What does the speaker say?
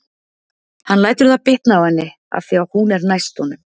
Hann lætur það bitna á henni af því að hún er næst honum.